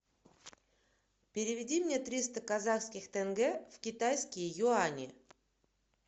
переведи мне триста казахских тенге в китайские юани